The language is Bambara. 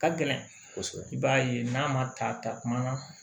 Ka gɛlɛn kosɛbɛ i b'a ye n'a ma ta takuma na